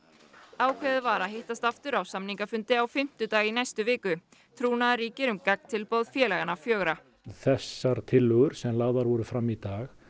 ákveðið var að hittast aftur á samningafundi á fimmtudag í næstu viku trúnaður ríkir um gagntilboð félaganna fjögurra þessar tillögur sem lagðar voru fram í dag